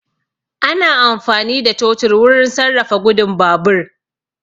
Ana amfani da totur wurin sarrafa gudun babur